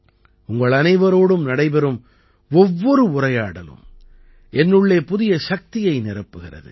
உங்களனைவரோடும் நடைபெறும் ஒவ்வொரு உரையாடலும் என்னுள்ளே புதிய சக்தியை நிரப்புகிறது